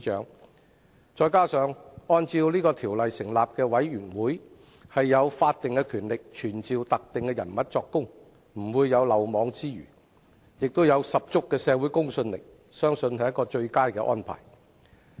此外，根據《調查委員會條例》成立的調查委員會有法定權力傳召特定人士作供，不會有漏網之魚，並有十足的社會公信力，相信是最佳的安排。